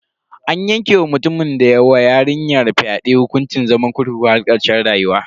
An yanke wa mutumin da ya wa yarinyar fyade hukuncin zaman kurkukun har karshen rayuwa.